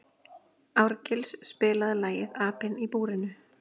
Árgils, spilaðu lagið „Apinn í búrinu“.